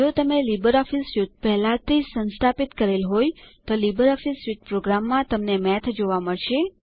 જો તમે LibreOffice suite પહેલાથી જ સંસ્થાપિત કરેલ હોય તો લીબરઓફીસ સ્યુટ પ્રોગ્રામ્સ માં તમને માથ મળશે